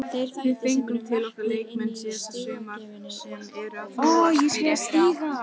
Við fengum til okkar leikmenn síðasta sumar sem eru að þróast í rétta átt.